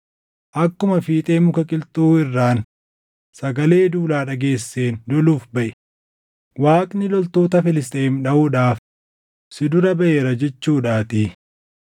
Akkuma fiixee muka qilxuu irraan sagalee duulaa dhageesseen loluuf baʼi; Waaqni loltoota Filisxeem dhaʼuudhaaf si dura baʼeera jechuudhaatii.”